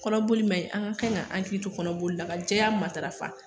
Kɔnɔboli ma ɲi, an ka kan k'an hakili to kɔnɔboli la, ka jɛya matarafa